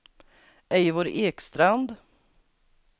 Eivor Ekstrand